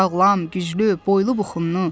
Sağlam, güclü, boylu-buxunlu.